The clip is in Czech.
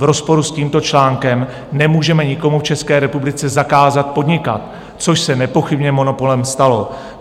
V rozporu s tímto článkem nemůžeme nikomu v České republice zakázat podnikat, což se nepochybně monopolem stalo.